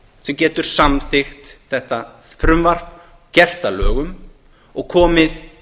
sem getur samþykkt þetta frumvarp gert það að lögum og komið